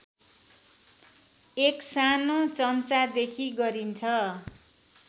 एक सानो चम्चादेखि गरिन्छ